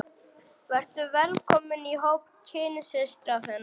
Vertu velkomin í hóp kynsystra þinna.